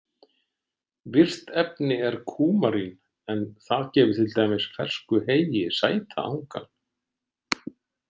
Virkt efni er kúmarín en það gefur til dæmis fersku heyi sæta angan.